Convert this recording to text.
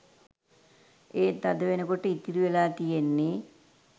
එත් අද වෙනකොට ඉතිරි වෙලා තියෙන්නේ